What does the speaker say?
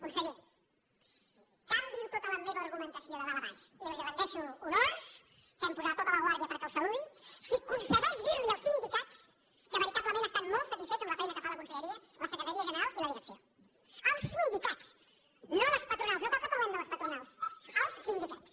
conseller canvio tota la meva argumentació de dalt a baix i li reto honors fem posar tota la guàrdia perquè el saludi si aconsegueix dir li als sindicats que veritablement estan molt satisfets amb la feina que fa la conselleria la secretaria general i la direcció els sindicats no les patronals no cal que parlem de les patronals els sindicats